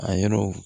A yɔrɔ